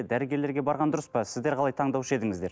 дәрігерлерге барған дұрыс па сіздер қалай таңдаушы едіңіздер